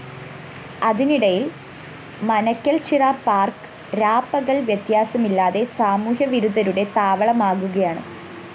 അതിനിടയില്‍ Manakkalchira park രാപകല്‍ വ്യത്യാസമില്ലാതെ സാമൂഹ്യ വിരുദ്ധരുടെ താവളമാകുകയാണ്